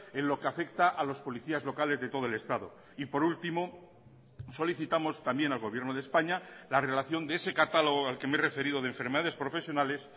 en lo que afecta a los policías locales de todo el estado y por último solicitamos también al gobierno de españa la relación de ese catálogo al que me he referido de enfermedades profesionales